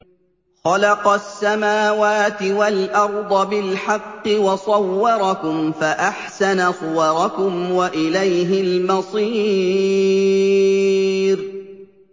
خَلَقَ السَّمَاوَاتِ وَالْأَرْضَ بِالْحَقِّ وَصَوَّرَكُمْ فَأَحْسَنَ صُوَرَكُمْ ۖ وَإِلَيْهِ الْمَصِيرُ